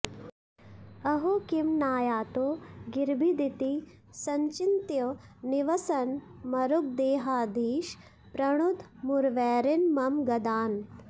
अहो किं नायातो गिरिभिदिति सञ्चिन्त्य निवसन् मरुद्गेहाधीश प्रणुद मुरवैरिन् मम गदान्